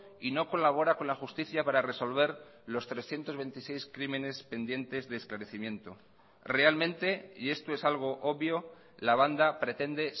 y no colabora con la justicia para resolver los trescientos veintiséis crímenes pendientes de esclarecimiento realmente y esto es algo obvio la banda pretende